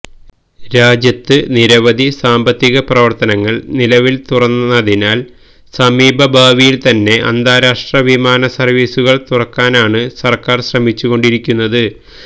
രാജ്യത്ത് നിരവധി സാമ്പത്തിക പ്രവര്ത്തനങ്ങള് നിലവില് തുറന്നതിനാല് സമീപഭാവിയില് തന്നെ അന്താരാഷ്ട്ര വിമാന സര്വ്വീസുകള് തുറക്കാനാണ് സര്ക്കാര് ശ്രമിച്ചു കൊണ്ടിരിക്കുന്നത്